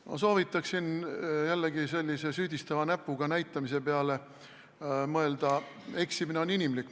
Ma soovitaksin jällegi sellise süüdistava näpuganäitamise asemel mõelda, et eksimine on inimlik.